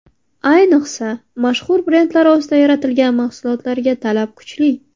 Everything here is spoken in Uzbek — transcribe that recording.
Ayniqsa, mashhur brendlar ostida yaratilgan mahsulotlarga talab kuchli.